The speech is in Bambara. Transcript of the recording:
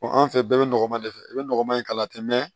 anw fɛ bɛɛ bɛ nɔgɔman de fɛ i bɛ nɔgɔman in kala ten